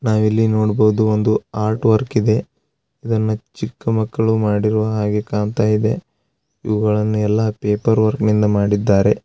ನಾವು ಇಲ್ಲಿ ನೋಡಬಹುದು ಒಂದು ಆರ್ಟ್‌ ವರ್ಕ್‌ ಇದೆ ಇದನ್ನು ಚಿಕ್ಕ ಮಕ್ಕಳು ಮಾಡಿದ ಹಾಗೆ ಕಾಣುತ್ತಾ ಇದೆ ಇವುಗಳನ್ನು ಎಲ್ಲಾ ಪೇಪರ್‌ ವರ್ಕ್‌ ಯಿಂದ ಮಾಡಿದ್ದಾರೆ